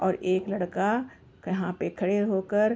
और एक लड़का कहाँ पे खड़े होकर --